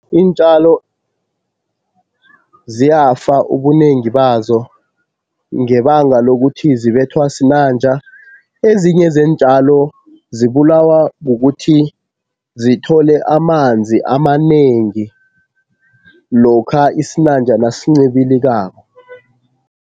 Iintjalo ziyafa ubunengi bazo ngebanga lokuthi zibethwa sinanja. Ezinye zeentjalo zibulawa kukuthi zithole amanzi amanengi lokha isinanja nasincibilikako.